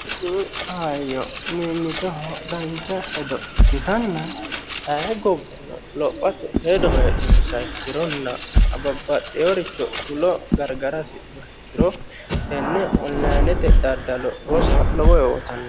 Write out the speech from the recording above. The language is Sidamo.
Tini kaayyi Mimmitoho dancha hedo ikkitanna ayee gobba lophate hedo heedhunsaha ikkirona babbaxeworicho fulo gargara hashidhuha ikkiro tenne onlinete daddalo rosa lowo horo uyiitanno.